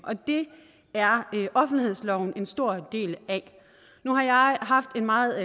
og det er offentlighedsloven en stor del af nu har jeg haft en meget